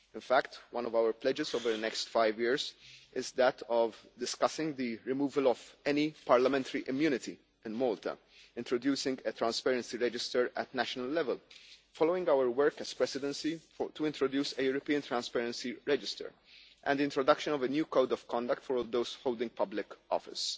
In fact, one of our pledges over the next five years is that of discussing the removal of any parliamentary immunity in Malta, introducing a transparency register at national level following our work as presidency to introduce a European Transparency Register, and the introduction of a new code of conduct for all those holding public office.